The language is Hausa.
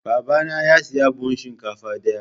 Babana ya sayi buhun shinkafa daya.